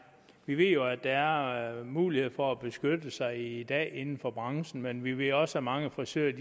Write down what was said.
vi ved jo at der er mulighed for at beskytte sig i dag inden for branchen men vi ved også at mange frisører